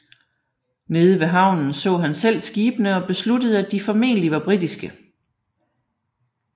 Nede ved havnen så han selv skibene og besluttede at de formentlig var britiske